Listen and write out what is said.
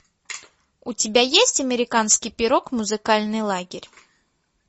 у тебя есть американский пирог музыкальный лагерь